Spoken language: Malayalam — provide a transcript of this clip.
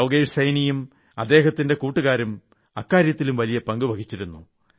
യോഗേഷ് സൈനിയും അദ്ദേഹത്തിന്റെ കൂട്ടുകാരും അക്കാര്യത്തിലും വലിയ പങ്കു വഹിച്ചിരുന്നു